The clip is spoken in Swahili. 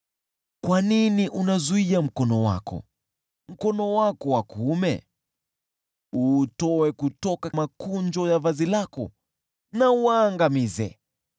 Kwa nini unazuia mkono wako, mkono wako wa kuume? Uutoe kutoka makunjo ya vazi lako na uwaangamize!